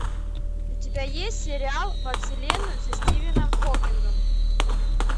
у тебя есть сериал во вселенную со стивеном хокингом